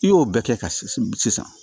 I y'o bɛɛ kɛ ka sisan